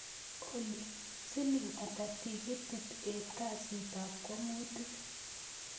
Olly siling ata tikitit en kasit ab kwong'utik